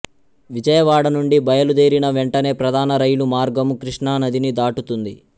విజయవాడ నుండి బయలుదేరిన వెంటనే ప్రధాన రైలు మార్గము కృష్ణానదిని దాటుతుంది